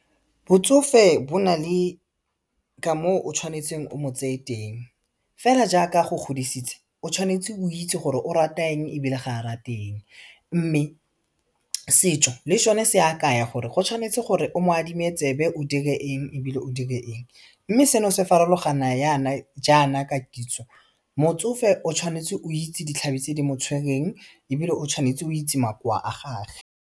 Botsofe bo nale ka moo o tshwanetseng o mo tseye teng, fela jaaka a go godisitse o tshwanetse o itse gore o rata eng ebile ga a rate eng mme setšo le sone se a kaya gore go tshwanetse gore o mo adime tsebe o dire eng ebile o dire eng mme seno se farologana yana jaana ka kitso motsofe o tshwanetse o itse ditlhare tse di mo tshwereng ebile o tshwanetse o itse makoa a gage.